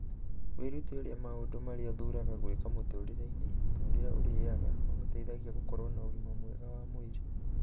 Wĩrute ũrĩa maũndũ marĩa ũthuuraga gwĩka mũtũũrĩre-inĩ, ta ũrĩa ũrĩaga, magũteithagia gũkorwo na ũgima mwega wa mwĩrĩ.